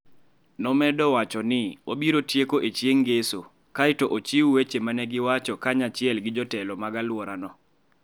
Nomedo wacho ni, "Obiro tieko e chieng' Ngeso kae to ochiw weche ma ne giwacho kanyachiel gi jotelo mag alworano".